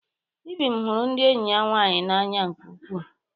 Ibim hụrụ enyi ya nwanyị n'anya nke ukwuu.